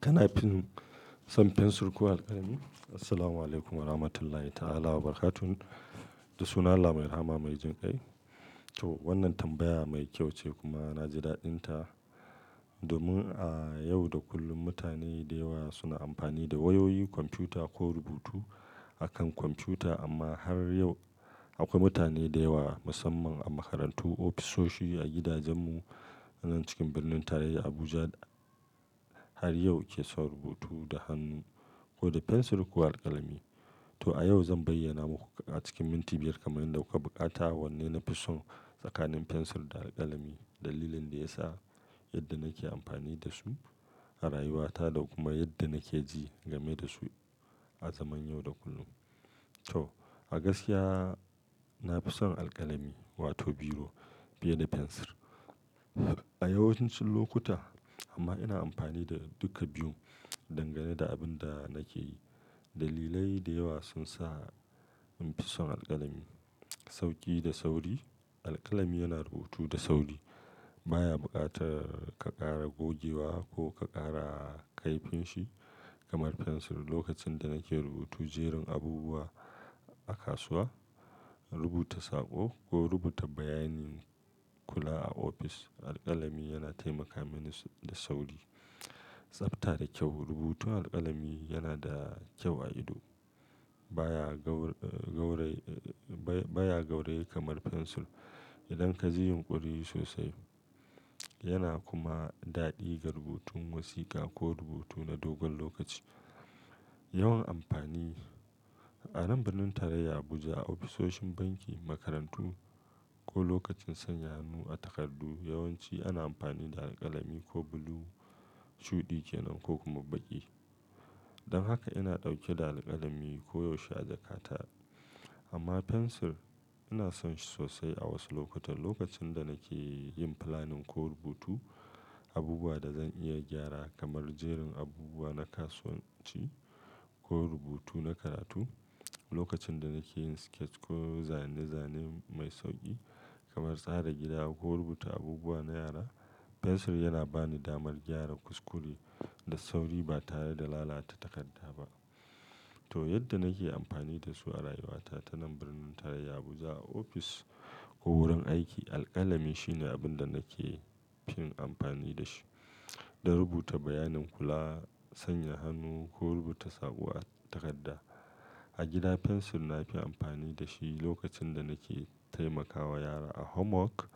Kanafin son fensir ko alkalami? Assalamualaikum warahmatullahi ta'ala wabarakatuh. Da suna Allah mai rahma mai jin kai. To wannan tambaya mai kyau ce kuma na ji daɗinta. Domin a yau da kullum mutane da yawa suna amfani da wayoyi, kwamfuta ko rubutu akan kwamfuta amma har yau akwai mutane da yawa musamman a makarantu, ofisoshi, a gidajenmu anan cikin birnin tarayya Abuja har yau ke son rubutu da hannu ko da fensir ko alkalami. To a yau zan bayyana muku a cikin minti biyar kamar yadda kuka bukata wanne nafi son tsakanin fensir da alkalami. Dalilin da ya sa yadda nake amfani da su a rayuwata da kuma yadda nake ji game da su a zaman yau da kullum. To a gaskiya nafi son alkalami wato biro fiye da fensir a yawancin lokuta amma ina amfani da duka biyun dangane da abin da nake yi. Dalilai da yawa sun sa in fi son alkalami. Sauƙi da sauri, alkalami yana rubutu da sauri. Ba ya buƙatar ka ƙara gogewa ko ka ƙara kaifin shi kamar fensir. Lokacin da nake rubutu jeran abubuwa a kasuwa, rubuta saƙo ko rubuta bayanin kula a ofis, alkalami yana taimaka mini da sauri. Tsafta da kyau, rubutun alkalami yana da kyau a ido. Ba ya gaur-- gauraye-- ba ya gauraye kamar fensir idan ka ji yunƙori sosai. Yana kuma daɗi ga rubutun wasiƙa ko rubutu na dogon lokaci. Yawan amfani, a nan birnin tarayya Abuja, a ofisoshin banki, makarantu ko lokacin sanya hannu a takardu, yawanci ana amfani da alkalami ko blue shuɗi ke nan ko kuma baƙi. Don haka ina ɗauke da alkalami koyaushe a jakata. Amma fensir ina son shi sosai a wasu lokutan. Lokacin da nake yin planning ko rubutu abubuwa da zan iya gyara kamar jeran abubuwa na kasuwanci ko rubutu na karatu, lokacin da nake yin sketch ko zane-zane mai sauƙi kamar tsara gida ko rubuta abubuwa na yara, fensir yana ba ni damar gyara kuskure da sauri ba tare da lalata takarda ba. To yadda nake amfani da su a rayuwata ta nan birnin tarayya Abuja, a ofis ko wurin aiki, alkalami shine abin da nake fi yin amfani da shi don rubuta bayanin kula, sanya hannu ko rubuta saƙo a takarda. A gida fensir nafi amfani da shi lokacin da nake taimakawa yara a homework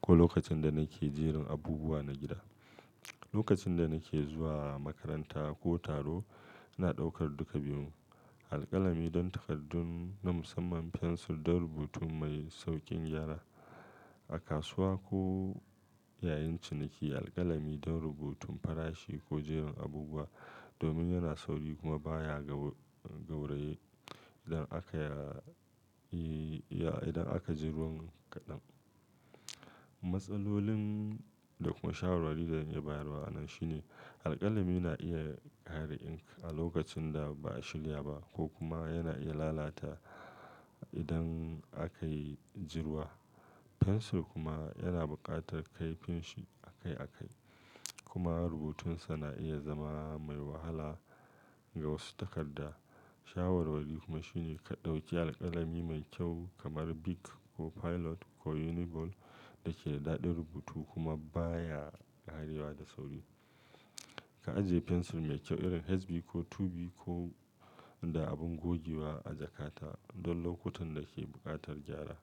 ko lokacin da nake jeran abubuwa na gida. Lokacin da nake zuwa makaranta ko taro ina ɗaukar duka biyun. Alkalami don takardun na musamman, fensir don rubutu mai sauƙin gyara. A kasuwa ko yayin ciniki alkalami don rubutun farashi ko jeran abubuwa domin yana sauri kuma baya gaur-- gauraye idan aka yi-- idan aka jerun kaɗan. Matsalolin da kuma shawarwari da zan yi bayarwa anan shine alkalami na iya ƙare ink a lokacin da ba a shirya ba ko kuma yana iya lalata idan aka yi jiruwa. Fensir kuma yana buƙatar kaifin shi a kai a kai kuma rubutunsa na iya zama mai wahala ga wasu takarda. Shawarwari kuma shine ka ɗauki alkalami mai kyau kamar Bic ko Pilot ko Uniball da ke da daɗin rubutu kuma baya ƙarewa da sauri. Ka ajiye fensir mai kyau irin HB ko 2B ko da abin gogewa a jakata don lokutan da ke buƙatar gyara.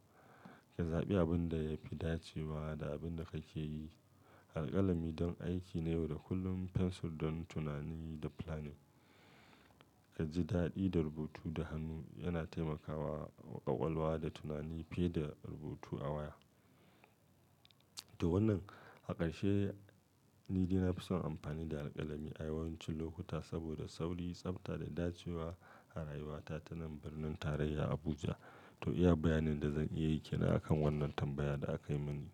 Ka zaɓi abin da ya fi dacewa da abin da kake yi. Alkalami don aiki na yau da kullum, fensir don tunani da planning. Ka ji daɗi da rubutu da hannu, yana taimakawa ƙaƙwalwa da tunani fiye da rubutu a waya. To wannan a ƙarshe ni dai nafi son amfani da alkalami a yawancin lokuta saboda sauri, tsafta da dacewa a rayuwata ta nan birnin tarayya Abuja. To iya bayanin da zan iya yi ke nan akan wannan tambaya da aka yi mini.